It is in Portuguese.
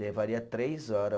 Levaria três hora.